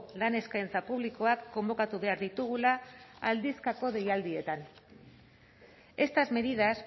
lan eskaintza publikoak konbokatu behar ditugula aldizkako deialdietan estas medidas